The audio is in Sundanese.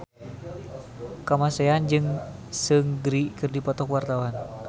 Kamasean jeung Seungri keur dipoto ku wartawan